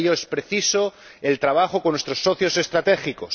Para ello es preciso trabajar con nuestros socios estratégicos.